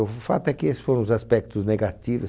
O f fato é que esses foram os aspectos negativos.